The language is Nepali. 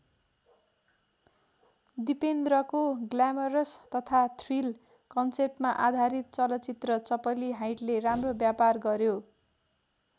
दिपेन्द्रको ग्ल्यामरस तथा थ्रिल कन्सेप्टमा आधारित चलचित्र चपली हाइटले राम्रो व्यापार गर्‍यो।